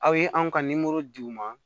Aw ye anw ka di u ma